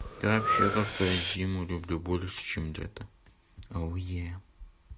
и вообще как то я зиму люблю больше чем лето ауе